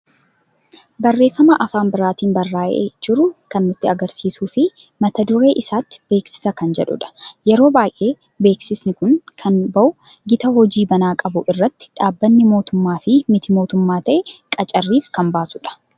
Barreeffama afaan biraatiin barra'ee jiru kan nutti agarsiisuu fi mataa duree isaatti beeksiisa kan jedhudha. Yeroo baay'ee beeksiisni kun kan ba'u gita hojii banaa qabu irratti dhabbanni mootummaa fi mitii mootummaa ta'e qacarriif kan baasuudha.